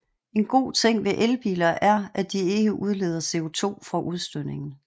En god ting ved elbiler er at de ikke udleder CO2 fra udstødningen